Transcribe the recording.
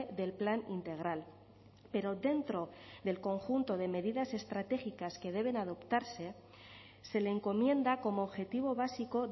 del plan integral pero dentro del conjunto de medidas estratégicas que deben adoptarse se le encomienda como objetivo básico